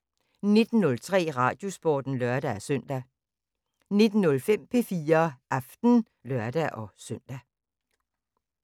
19:03: Radiosporten (lør-søn) 19:05: P4 Aften (lør-søn)